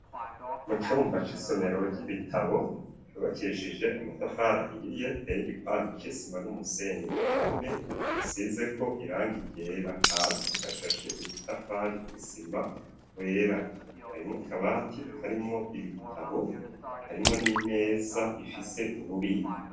Mu cumba c'isomero ry'ibitabo yubakishije amatafari ahiriye tey’igipanda c'isima n'umusenyi ku nkome basize ko irangi ryera hasi hashashe udutafari tw'isima twera, harimwo kabati karimwo ibitabo harimwo n'imeza ifise ububiko.